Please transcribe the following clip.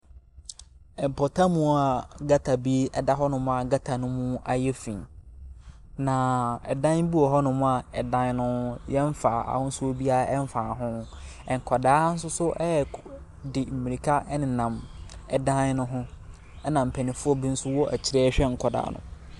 Mpatamu a gutter bi ɛda hɔ a gutter no mu ayɛ finn. Na ɛdan bi wɔ hɔ nom a ɛdan no yɛnnfaa ahosuo biara ɛnnfaa ho. Nkwadaa nsoso di mirika ɛnam dan no ho ɛna mpanyinfoɔ bi nso ɛwɔ akyire ɛrehwɛ nkwadaa no.